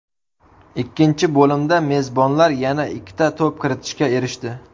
Ikkinchi bo‘limda mezbonlar yana ikkita to‘p kiritishga erishdi.